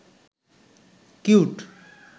cute